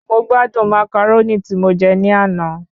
Mo gbádùn Màcàrónì tí mo je ni àná